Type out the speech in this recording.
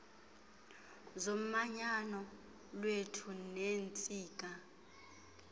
zomanyano lwethu neentsika